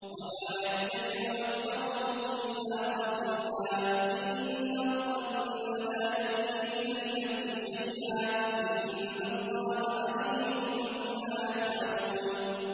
وَمَا يَتَّبِعُ أَكْثَرُهُمْ إِلَّا ظَنًّا ۚ إِنَّ الظَّنَّ لَا يُغْنِي مِنَ الْحَقِّ شَيْئًا ۚ إِنَّ اللَّهَ عَلِيمٌ بِمَا يَفْعَلُونَ